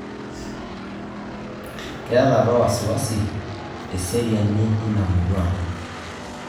Keeta apa wasiwasi eseriani ina murua